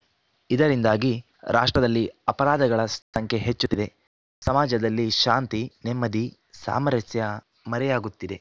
ಇದರಿಂದಾಗಿ ರಾಷ್ಟ್ರದಲ್ಲಿ ಅಪರಾಧಗಳ ಸಂಖ್ಯೆ ಹೆಚ್ಚುತ್ತಿದೆ ಸಮಾಜದಲ್ಲಿ ಶಾಂತಿ ನೆಮ್ಮದಿ ಸಾಮರಸ್ಯ ಮರೆಯಾಗುತ್ತಿದೆ